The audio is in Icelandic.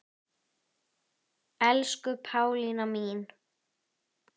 Elsku Pálína mín.